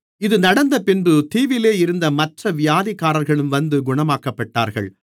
இது நடந்தபின்பு தீவிலே இருந்த மற்ற வியாதிக்காரர்களும் வந்து குணமாக்கப்பட்டார்கள்